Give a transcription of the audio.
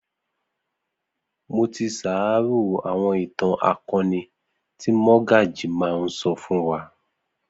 Mo ti sàárò àwọn ìtàn akọni tí Mọ́gàjí máa ń sọ fún wa